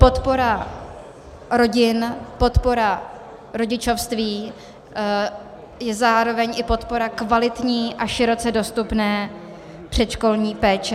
Podpora rodin, podpora rodičovství a zároveň i podpora kvalitní a široce dostupné předškolní péče -